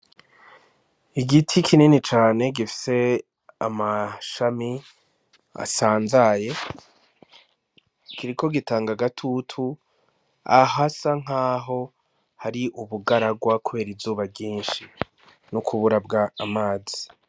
Igiti kinini cane gifise amashami asanzaye kiriko gitanga agatutu ahasa nkaho hari ubugaragwa kubera izuba ryinshi no kubura amazi.